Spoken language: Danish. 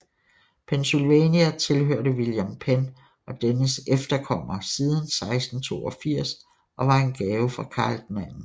Pennsylvania tilhørte William Penn og dennes efterkommere siden 1682 og var en gave fra Karl 2